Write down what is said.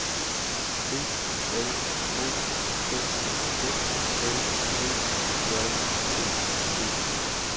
B L O K F L Ø J T E